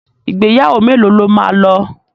Ìgbéyàwó mélòó lo máa lọ?